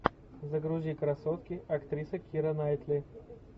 загрузи красотки актриса кира найтли